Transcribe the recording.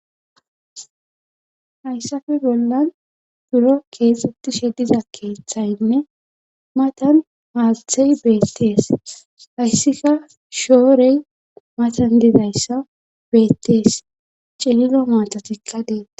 hayssafe bollan buro keexxutishe diza keeththaynne matan maalthey beettees hayssika shoorey matan didayssa beettees cililo maatatikka detes